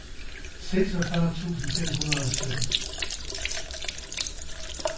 seksogfyrre tusind fem hundrede og sytten